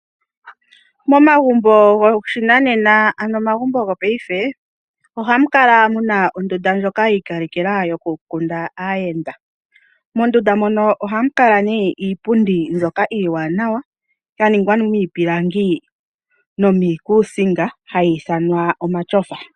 Momagumbo goshinanena, ano omagumbo go paife, ohamu kala muna ondunda ndjoka ya ikalekelwa yo kundila aayenda. Mondunda mono ohamu kale nee iipundi mbyoka iiwanawa ya ningwa miipilangi no miikusinga, hayi ithanwa omachofa.